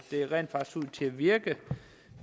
til at virke